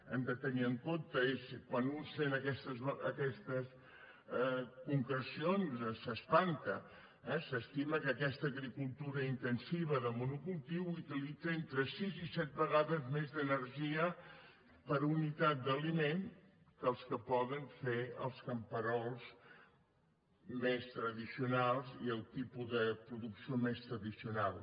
hem de tenir en compte quan un sent aquestes concrecions s’espanta eh s’estima que aquesta agricultura intensiva de monocultiu utilitza entre sis i set vegades més d’energia per unitat d’aliment que el que poden fer els camperols més tradicionals i el tipus de producció més tradicional